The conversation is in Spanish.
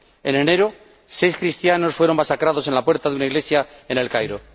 En enero, seis cristianos fueron masacrados a la puerta de una iglesia en El Cairo.